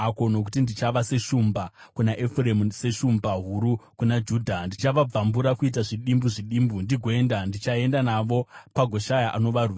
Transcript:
Nokuti ndichava seshumba kuna Efuremu, seshumba huru kuna Judha. Ndichavabvambura kuita zvidimbu zvidimbu ndigoenda; ndichaenda navo pagoshaya anovarwira.